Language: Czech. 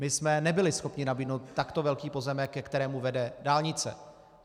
My jsme nebyli schopni nabídnout takto velký pozemek, ke kterému vede dálnice.